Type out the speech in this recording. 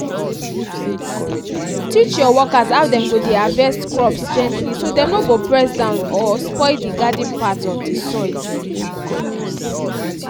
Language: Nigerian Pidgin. teach your workers how dem go dey harvest crops gently so dem no go press down or spoil di garden paths of di soil.